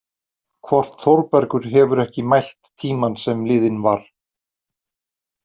Hvort Þórbergur hefur ekki mælt tímann sem liðinn var!